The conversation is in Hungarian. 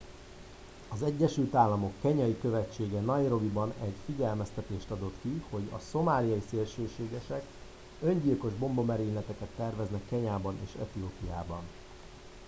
"az egyesült államok kenyai követsége nairobiban egy figyelmeztetést adott ki hogy "szomáliai szélsőségesek" öngyilkos bombamerényleteket terveznek kenyában és etiópiában.